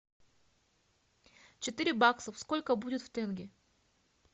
четыре бакса сколько будет в тенге